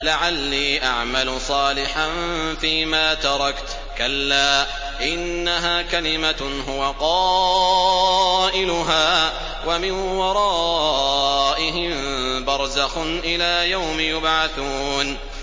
لَعَلِّي أَعْمَلُ صَالِحًا فِيمَا تَرَكْتُ ۚ كَلَّا ۚ إِنَّهَا كَلِمَةٌ هُوَ قَائِلُهَا ۖ وَمِن وَرَائِهِم بَرْزَخٌ إِلَىٰ يَوْمِ يُبْعَثُونَ